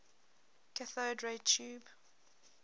cathode ray tube